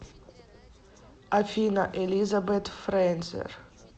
афина элизабет фрейзер